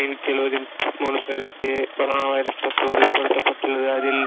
ஐநூத்தி எழுபத்தி மூணு பேருக்கு corona வைரஸ் தொற்று உறுதிப்படுத்தப்பட்டுள்ளது அதில்